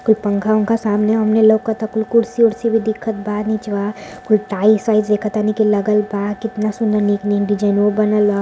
कुल पनखा वनखा सामने-आमने लउकत ह। कुल कुर्सी-उर्सी भी दिखत बा। निचवा कुल टाइल्स वाइल्स देखत तनी लगल बा। कितना सुन्दर डिज़ाइनो बनल ह।